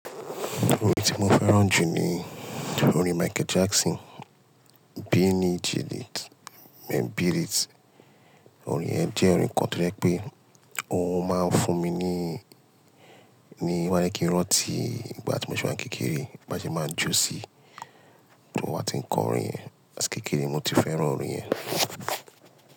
Orin tí mo fẹ́ràn jù ni orin Michael Jackson, Beat It. Orin yẹn jẹ́ orin kan tó jẹ́ pé ó máa ń fún mi ní, ní wáyé kí n rantì. Ìgbà tí mo ṣì máa ń kékeré, bá ṣe máa jó sí, tí wọ́n bá ti ń kọ orin ẹ̀. Aṣìkò kékeré mo ti fẹ́ràn orin ẹ̀